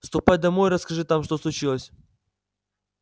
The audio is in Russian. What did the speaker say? ступай домой и расскажи там что случилось